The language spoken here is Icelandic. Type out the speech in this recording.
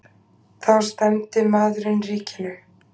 Þá stefndi maðurinn ríkinu.